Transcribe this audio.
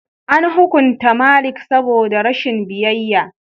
An hukunta Malik saboda rashin biyayya.